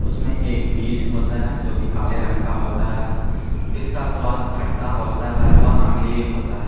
उसमे एक बीज होता है जो की काले रंग का होता है इसका स्वाद खट्टा होता है एवं अम्लीय होता है।